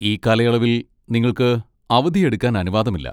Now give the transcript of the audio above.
ഈ കാലയളവിൽ, നിങ്ങൾക്ക് അവധിയെടുക്കാൻ അനുവാദമില്ല.